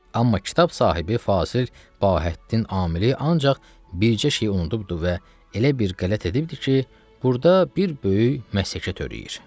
Amma kitab sahibi Fasili Bahəddin Amili ancaq bircə şeyi unudubdur və elə bir qələt edibdir ki, burda bir böyük məshəkə törəyir.